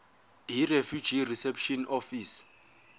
yirefugee reception office